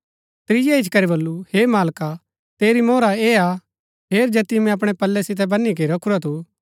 त्रिऐ इच्ची करी वलु हे मालका तेरी मोहर ऐह हा हेर जैतियो मैंई अपणै पल्लै सितै वनी के रखुरा थू